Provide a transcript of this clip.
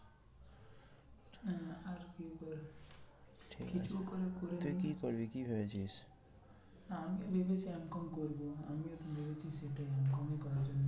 আহ কি ঠিক আছে কিছু তুই কি করবি কি ভেবেছিস? আমি ভেবেছি M com করবো। আমিও তো ভেবেছি সেটাই M com ই করার জন্য